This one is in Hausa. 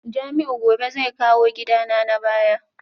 Jamiu gobe zai kawo gidana na baya